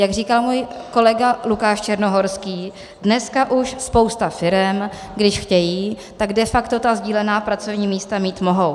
Jak říkal můj kolega Lukáš Černohorský, dneska už spousta firem, když chtějí, tak de facto ta sdílená pracovní místa mít mohou.